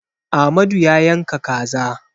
Amadu ya yanka kaza.